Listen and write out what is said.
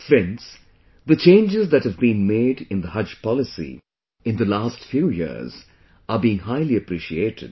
Friends, the changes that have been made in the Haj Policy in the last few years are being highly appreciated